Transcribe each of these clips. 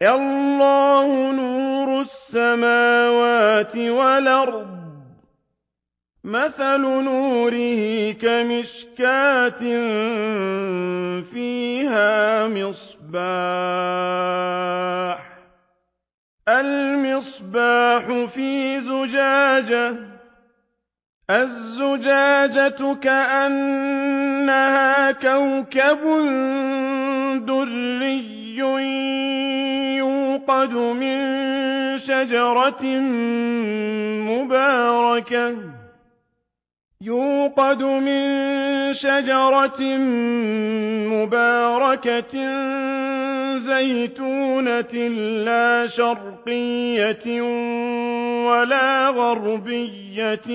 ۞ اللَّهُ نُورُ السَّمَاوَاتِ وَالْأَرْضِ ۚ مَثَلُ نُورِهِ كَمِشْكَاةٍ فِيهَا مِصْبَاحٌ ۖ الْمِصْبَاحُ فِي زُجَاجَةٍ ۖ الزُّجَاجَةُ كَأَنَّهَا كَوْكَبٌ دُرِّيٌّ يُوقَدُ مِن شَجَرَةٍ مُّبَارَكَةٍ زَيْتُونَةٍ لَّا شَرْقِيَّةٍ وَلَا غَرْبِيَّةٍ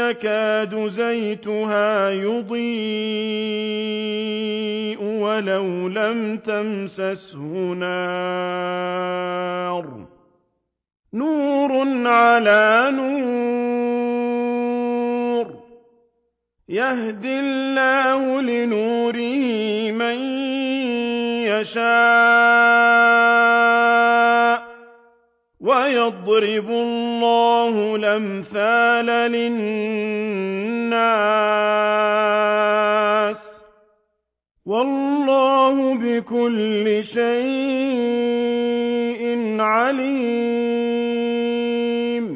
يَكَادُ زَيْتُهَا يُضِيءُ وَلَوْ لَمْ تَمْسَسْهُ نَارٌ ۚ نُّورٌ عَلَىٰ نُورٍ ۗ يَهْدِي اللَّهُ لِنُورِهِ مَن يَشَاءُ ۚ وَيَضْرِبُ اللَّهُ الْأَمْثَالَ لِلنَّاسِ ۗ وَاللَّهُ بِكُلِّ شَيْءٍ عَلِيمٌ